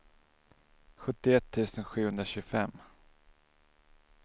sjuttioett tusen sjuhundratjugofem